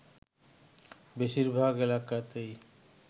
বেশিরভাগ এলাকাতেই